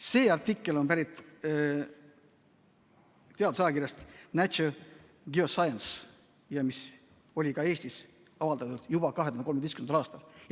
See artikkel on pärit teadusajakirjast Nature Geoscience, mis oli ka Eestis avaldatud juba 2013. aastal.